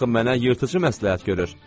Axı mənə yırtıcı məsləhət görür!